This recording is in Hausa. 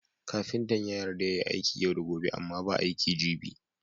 Kafintan ya yarda yayi aiki yau da gobe Amma ba aiki gibi